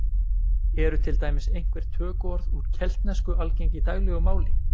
Eru til dæmis einhver tökuorð úr keltnesku algeng í daglegu máli?